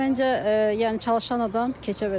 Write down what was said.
Məncə, yəni çalışan adam keçə bilər.